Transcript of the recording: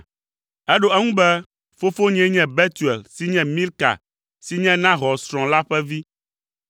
Eɖo eŋu be, “Fofonyee nye Betuel si nye Milka si nye Nahor srɔ̃ la ƒe vi.